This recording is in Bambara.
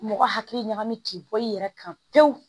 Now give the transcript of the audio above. Mɔgɔ hakili ɲagami k'i bɔ i yɛrɛ kan pewu